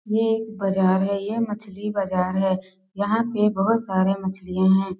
ये एक बाजार है ये मछली बाजार है यहाँ पे बहुत सारे मछलियां हैं।